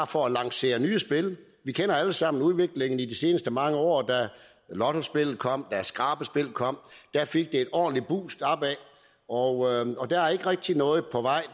for at lancere nye spil vi kender alle sammen udviklingen i de seneste mange år da lottospillet kom da skrabespillet kom fik det et ordentligt boost opad og der er ikke rigtig noget på vej